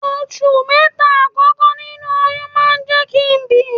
Oṣù mẹ́ta àkọ́kọ́ nínú oyún máa ń jẹ́ kí n bi.